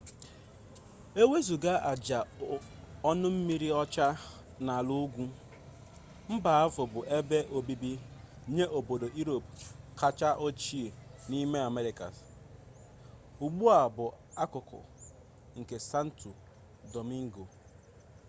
e wezụga aja ọnụmmiri ọcha na ala ugwu mba ahụ bụ ebe obibi nye obodo europe kacha ochie n'ime americas ugbu a bụ akụkụ nke santo domingo